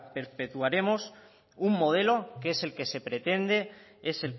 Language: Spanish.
perpetuaremos un modelo que es el que se pretende es